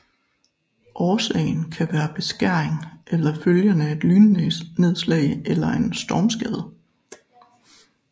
Årsagen kan være beskæring eller følgen af et lynnedslag eller en stormskade